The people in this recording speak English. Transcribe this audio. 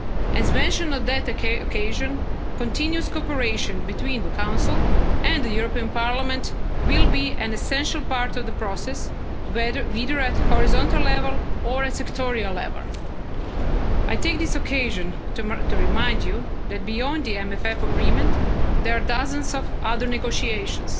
and recovery plan. As mentioned on that occasion, continuous cooperation between the Council and the European Parliament will be an essential part of the process, either at horizontal level or at sectorial level. I take this occasion to remind you that, beyond the MMF agreement, there are dozens of